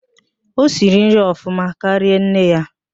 O siri nri ọfụma karịa nne ya